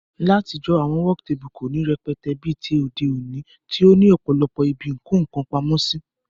Látijó, àwon work table kò ní rẹpẹtẹ bí ti òde òní tí ó ní òpòlopò ibi ìko nkan pamósí